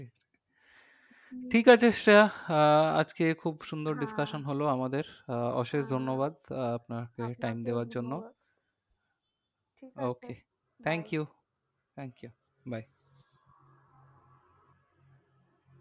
ঠিক আছে শ্রেয়া আহ আজকে খুব সুন্দর discussion হলো আমাদের আহ অশেষ ধন্যবাদ আপনাকে time দেওয়ার জন্য thank you bye